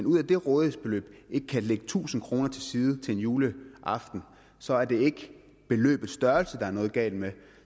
ud af det rådighedsbeløb ikke kan lægge tusind kroner til side til en juleaften så er det ikke beløbets størrelse der er noget galt med